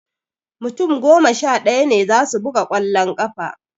Mutum goma sha ɗaya ne za su buga ƙwallon ƙafa